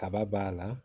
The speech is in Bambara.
Kaba b'a la